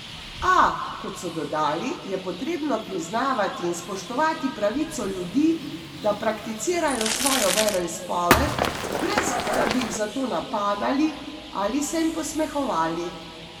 A, kot so dodali, je potrebno priznavati in spoštovati pravico ljudi, da prakticirajo svojo veroizpoved, brez, da bi jih za to napadali ali se jim posmehovali.